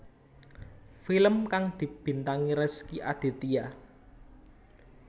Film kang dibintangi Rezky Aditya